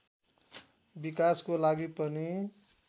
विकासको लागि पनि